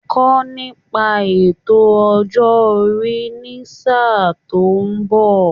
Kọ́ nípa ètò ọjọ́ orí ní sáà tó ń bọ̀